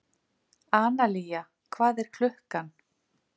Analía, hvað er klukkan?